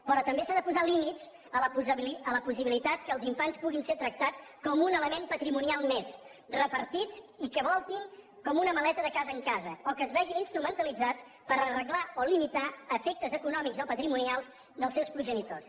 però també s’han de posar límits a la possibilitat que els infants puguin ser tractats com un element patrimonial més repartits i que voltin com una maleta de casa en casa o que es vegin instrumentalitzats per arreglar o limitar efectes econòmics o patrimonials dels seus progenitors